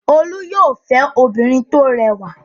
Olú yóò fẹ́ obìnrin tó rẹwà!